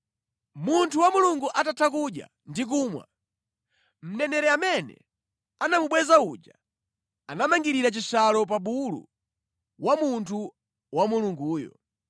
Munthu wa Mulungu atatha kudya ndi kumwa, mneneri amene anamubweza uja anamangirira chishalo pa bulu wa munthu wa Mulunguyo.